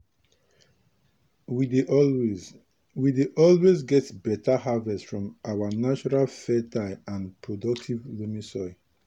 we dey always we dey always get beta harvest from our naturally fertile and productive loamy soil.